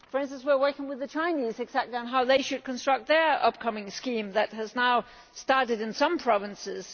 For instance, we are working with the Chinese on exactly how they should construct their upcoming scheme which has now started in some provinces.